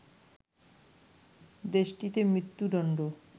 দেশটিতে মৃত্যুদণ্ড